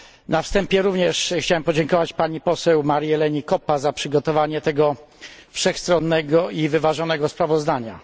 Na wstępie również chciałbym podziękować pani poseł Marii Eleni Koppie za przygotowanie tego wszechstronnego i wyważonego sprawozdania.